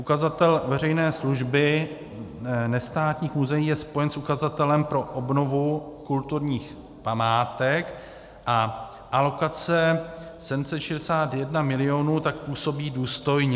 Ukazatel veřejné služby nestátních muzeí je spojen s ukazatelem pro obnovu kulturních památek a alokace 761 mil. tak působí důstojně.